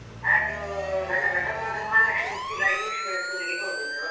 ಅದು ನನ್ನ ದೊಡ್ಡ ಮಗ Mahalakshmi Uchila English medium school ಗೆ ಹೋಗಿದ್ದು.